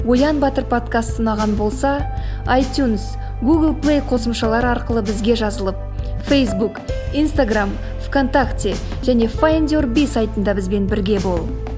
оян батыр подкасты ұнаған болса айтюнс гугл плей қосымшалары арқылы бізге жазылып фейсбук инстаграмм в контакте және файндюрби сайтында бізбен бірге бол